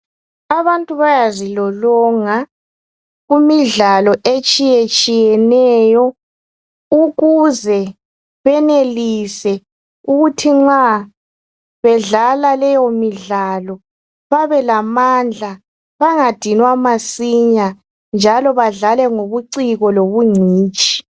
Abantu bayazilolonga kumidlalo etshiyetshiyeneyo ukuze benelise ukuthi nxa bedlala leyo midlalo babelamandla bangadinwa masinya njalo badlale ngobuciko lobungcitshi.